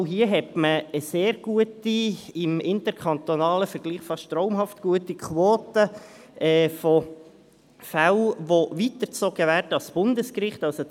Auch hier hat man eine sehr gute, im interkantonalen Vergleich fast traumhaft gute Quote bei den Fällen, die ans Bundesgericht weitergezogen werden.